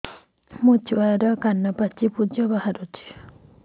ମୋ ଛୁଆ କାନ ପାଚି ପୂଜ ବାହାରୁଚି